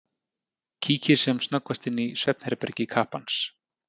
Kíkir sem snöggvast inn í svefnherbergi kappans.